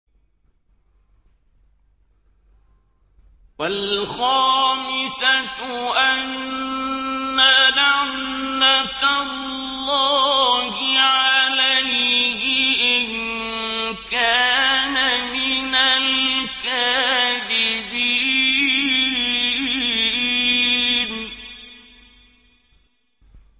وَالْخَامِسَةُ أَنَّ لَعْنَتَ اللَّهِ عَلَيْهِ إِن كَانَ مِنَ الْكَاذِبِينَ